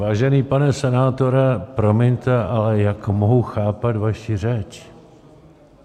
Vážený pane senátore, promiňte, ale jak mohu chápat vaši řeč?